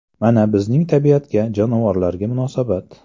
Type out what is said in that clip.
Mana, bizning tabiatga, jonivorlarga munosabat.